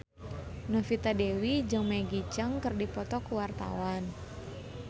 Novita Dewi jeung Maggie Cheung keur dipoto ku wartawan